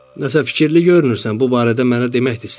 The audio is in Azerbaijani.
"Nəsə fikirli görünürsən, bu barədə mənə demək də istəmirsən."